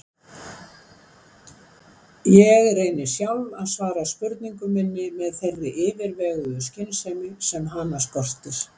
Ég reyni sjálf að svara spurningu minni með þeirri yfirveguðu skynsemi sem hana skortir.